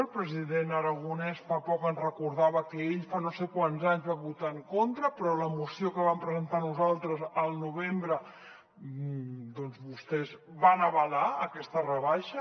el president aragonès fa poc ens recordava que ell fa no sé quants anys hi va votar en contra però a la moció que vam presentar nosaltres al novembre doncs vostès van avalar aquesta rebaixa